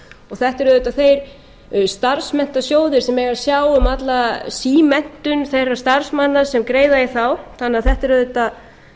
þetta eru auðvitað þeir starfsmenntasjóðir sem eiga að sjá um alla símenntun þeirra starfsmanna sem greiða í þá þannig að þetta